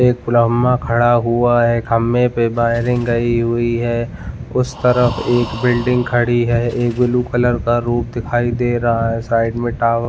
एक ब्रह्म खड़ा हुआ है खंभे पर वायरिंग गई हुई है उस तरफ एक बिल्डिंग खड़ी है और एक ब्लू कलर का रूप दिखाई दे रहा हैसाइड में टावर --